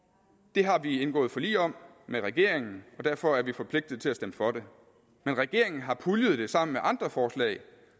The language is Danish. det har vi jo indgået forlig om med regeringen og derfor er vi forpligtet til at stemme for det men regeringen har puljet det sammen med andre forslag